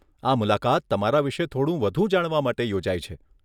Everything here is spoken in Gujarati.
આ મુલાકાત તમારા વિષે થોડું વધુ જાણવા માટે યોજાઈ છે.